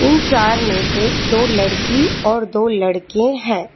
इन चार में से दो लड़की और दो लड़के हैं।